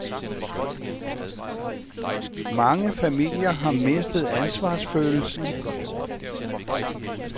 Mange familier har mistet ansvarsfølelsen.